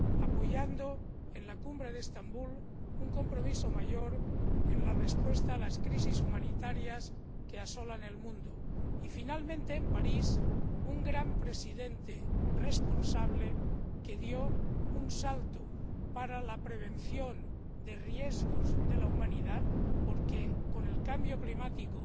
apoyando en la Cumbre de Estambul un compromiso mayor en la respuesta a las crisis humanitarias que asolan el mundo, y, finalmente, en París, donde un gran presidente responsable dio un salto para la prevención de riesgos de la humanidad —porque, con el cambio climático,